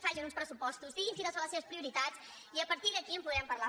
facin uns pressupostos diguin quines són les seves prioritats i a partir d’aquí en podrem parlar